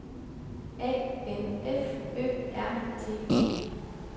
A N F Ø R T E